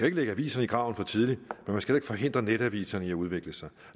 ikke lægge aviser i graven for tidligt men man skal heller ikke forhindre netaviserne i at udvikle sig